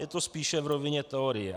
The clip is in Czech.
Je to spíše v rovině teorie.